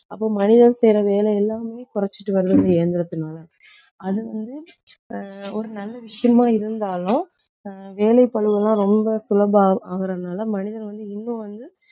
அப்போ மனிதன் செய்யற வேலை எல்லாமே குறைச்சுட்டு வருது இந்த இயந்திரத்துனால அது வந்து ஆஹ் ஒரு நல்ல விஷயமா இருந்தாலும் ஆஹ் வேலைப்பளுவெல்லாம் ரொம்ப சுலபம் ஆகறதுனால மனிதர் வந்து இன்னும் வந்து